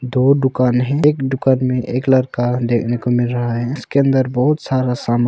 दो दुकान है एक दुकान में एक लड़का देखने को मिल रहा है इसके अंदर बहुत सारा सामान--